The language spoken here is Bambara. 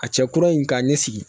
A cɛ kura in ka ɲɛ sigi